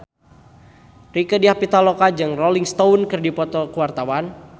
Rieke Diah Pitaloka jeung Rolling Stone keur dipoto ku wartawan